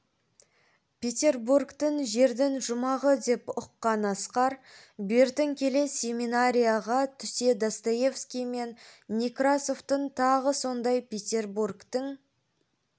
петербургті жердің жұмағы деп ұққан асқар бертін келе семинарияға түсе достоевский мен некрасовтың тағы сондай петербургтің